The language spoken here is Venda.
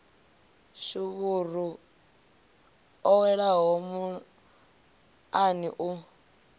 shuvhuru ḽo welaho muḽani u